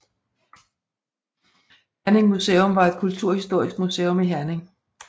Herning Museum var et kulturhistorisk museum i Herning